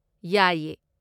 ꯌꯥꯏꯌꯦ!